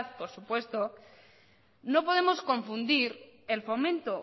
por supuesto no podemos confundir el fomento